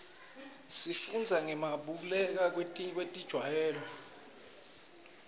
sifundza ngekubaluleka kwetitjalo